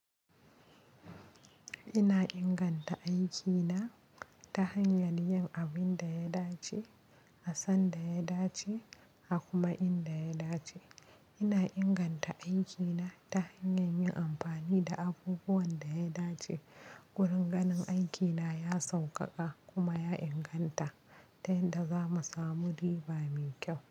Ina inganta aikina ta hanyar yin abin da ya dace, a san da ya dace, a kuma in da ya dace. Ina inganta aikina ta hanyar yin amfani da abubuwan da ya dace. Ƙuringanin aikina ya sauƙaƙa kuma ya inganta, tun da za mu samu riba mai kyau.